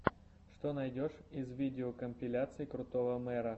что найдешь из видеокомпиляций крутого мэра